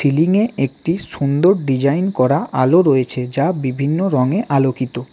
Ceiling -এ একটি সুন্দর ডিজাইন করা আলো রয়েছে যা বিভিন্ন রঙে আলোকিত।